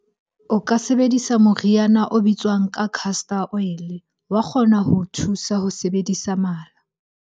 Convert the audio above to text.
O ka sebedisa moriana o bitswang ka castor oil-e. Wa kgona ho o thusa ho sebedisa mala.